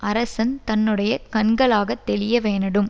அரசன் தன்னுடைய கண்களாகத் தெளியவேணடும்